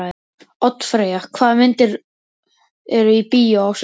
Oddfreyja, hvaða myndir eru í bíó á sunnudaginn?